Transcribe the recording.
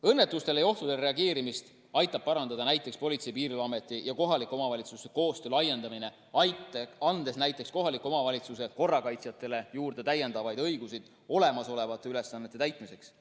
Õnnetustele ja ohtudele reageerimist aitab parandada Politsei‑ ja Piirivalveameti ja kohaliku omavalitsuse koostöö laiendamine, andes näiteks kohaliku omavalitsuse korrakaitsjatele juurde õigusi olemasolevate ülesannete täitmiseks.